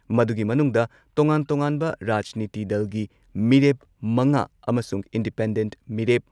ꯃꯗꯨꯒꯤ ꯃꯅꯨꯡꯗ ꯇꯣꯉꯥꯟ ꯇꯣꯉꯥꯟꯕ ꯔꯥꯖꯅꯤꯇꯤ ꯗꯜꯒꯤ ꯃꯤꯔꯦꯞ ꯃꯉꯥ ꯑꯃꯁꯨꯡ ꯏꯟꯗꯤꯄꯦꯟꯗꯦꯟꯠ ꯃꯤꯔꯦꯞ